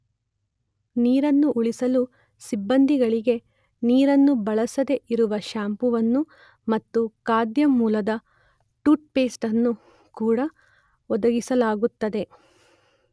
ನೀರನ್ನು ಉಳಿಸಲು ಸಿಬ್ಬಂದಿಗಳಿಗೆ ನೀರನ್ನು ಬಳಸದೆ ಇರುವ ಶ್ಯಾಂಪುವನ್ನು ಮತ್ತು ಖಾದ್ಯ ಮೂಲದ ಟೂತ್ ಪೇಸ್ಟ್ ಅನ್ನು ಕೂಡ ಒದಗಿಸಲಾಗುತ್ತದೆ.